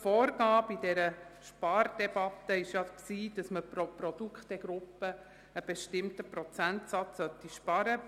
Die Vorgabe in der Spardebatte war ja, pro Produktgruppe einen bestimmten Prozentsatz einzusparen.